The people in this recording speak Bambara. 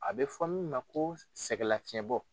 A bɛ fɔ min ma ko sɛgɛlafiɲɛbɔ